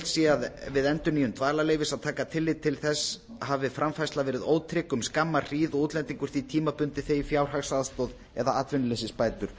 sé við endurnýjun dvalarleyfis að taka tillit til þess hafi framfærsla verið ótrygg um skamma hríð og útlendingur því tímabundið þegið fjárhagsaðstoð eða atvinnuleysisbætur